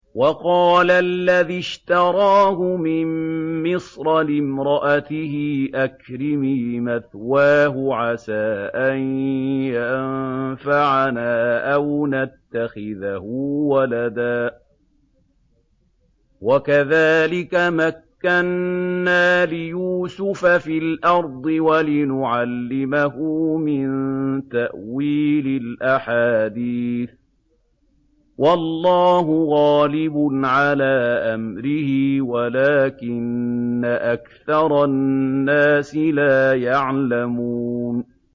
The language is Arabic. وَقَالَ الَّذِي اشْتَرَاهُ مِن مِّصْرَ لِامْرَأَتِهِ أَكْرِمِي مَثْوَاهُ عَسَىٰ أَن يَنفَعَنَا أَوْ نَتَّخِذَهُ وَلَدًا ۚ وَكَذَٰلِكَ مَكَّنَّا لِيُوسُفَ فِي الْأَرْضِ وَلِنُعَلِّمَهُ مِن تَأْوِيلِ الْأَحَادِيثِ ۚ وَاللَّهُ غَالِبٌ عَلَىٰ أَمْرِهِ وَلَٰكِنَّ أَكْثَرَ النَّاسِ لَا يَعْلَمُونَ